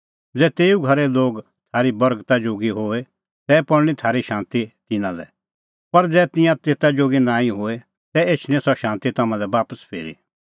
ज़ै तेऊ घरे लोग थारी बर्गता जोगी होए तै पल़णीं थारी शांती तिन्नां लै पर ज़ै तिंयां तेता जोगी नांईं होए तै एछणी सह शांती तम्हां लै बापस फिरी